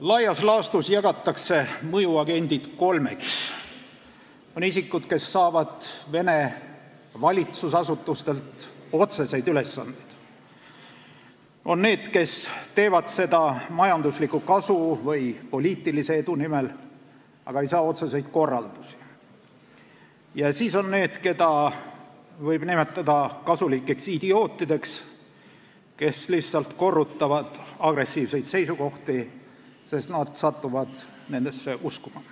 Laias laastus jagatakse mõjuagendid kolmeks: isikud, kes saavad Vene valitsusasutustelt otseseid ülesandeid; need, kes teevad seda majandusliku kasu või poliitilise edu nimel, aga ei saa otseseid korraldusi; ja need, keda võib nimetada kasulikeks idiootideks, kes lihtsalt korrutavad agressiivseid seisukohti, sest nad satuvad nendesse uskuma.